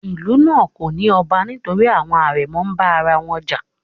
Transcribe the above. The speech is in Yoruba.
Ìlú náà kò ní ọba nítorí àwọn àrẹ̀mọ ń bá ara wọn jà.